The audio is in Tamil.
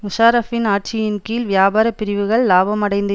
முஷாரஃப்பின் ஆட்சியின் கீழ் வியாபாரப்பிரிவுகள் இலாபமடைந்து